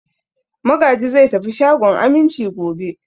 Magaji zai tafi shagon Aminci gobe.